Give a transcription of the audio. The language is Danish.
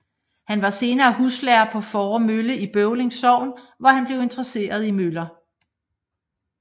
Han var senere huslærer på Fåre Mølle i Bøvling Sogn hvor han blev interesseret i møller